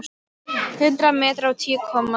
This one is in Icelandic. Hundrað metrar á tíu komma núll!